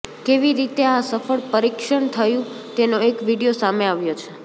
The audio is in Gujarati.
કેવી રીતે આ સફળ પરીક્ષણ થયું તેનો એક વીડિયો સામે આવ્યો છે